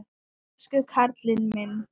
Elsku karlinn minn.